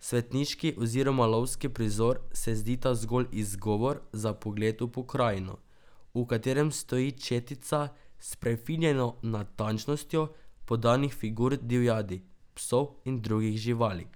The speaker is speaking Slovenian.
Svetniški oziroma lovski prizor se zdita zgolj izgovor za pogled v pokrajino, v katerem stoji četica s prefinjeno natančnostjo podanih figur divjadi, psov in drugih živali.